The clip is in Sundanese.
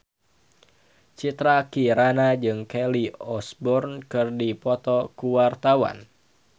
Citra Kirana jeung Kelly Osbourne keur dipoto ku wartawan